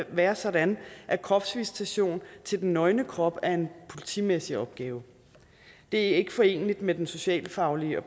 være sådan at kropsvisitation til den nøgne krop er en politimæssig opgave det er ikke foreneligt med den socialfaglige og